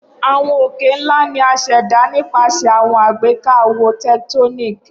Awọn oke-nla ni a ṣẹda nipasẹ awọn agbeka awo tectonic.